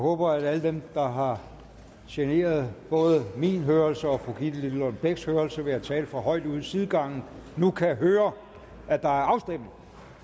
håber at alle dem der har generet både min hørelse og fru gitte lillelund bechs hørelse ved at tale for højt ude i sidegangen nu kan høre at der er afstemning